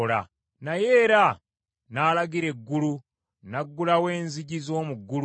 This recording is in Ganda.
Naye era n’alagira eggulu; n’aggulawo enzigi z’omu ggulu.